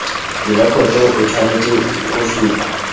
direkoto o tshwanetse go supa